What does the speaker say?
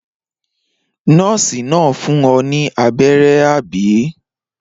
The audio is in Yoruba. Nọ́ọ́sì náà fún ọ ní abẹ́rẹ́, àbí?